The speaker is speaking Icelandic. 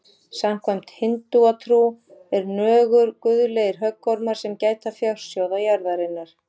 Samkvæmt hindúatrú eru nögur guðlegir höggormar sem gæta fjársjóða jarðarinnar.